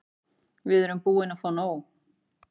Við erum búin að fá nóg.